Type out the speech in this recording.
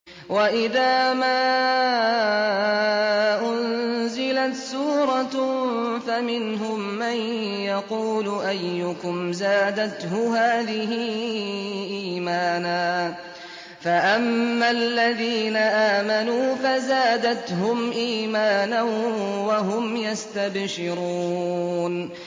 وَإِذَا مَا أُنزِلَتْ سُورَةٌ فَمِنْهُم مَّن يَقُولُ أَيُّكُمْ زَادَتْهُ هَٰذِهِ إِيمَانًا ۚ فَأَمَّا الَّذِينَ آمَنُوا فَزَادَتْهُمْ إِيمَانًا وَهُمْ يَسْتَبْشِرُونَ